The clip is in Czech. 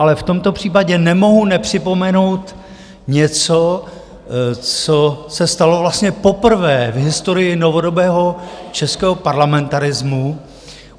Ale v tomto případě nemohu nepřipomenout něco, co se stalo vlastně poprvé v historii novodobého českého parlamentarismu.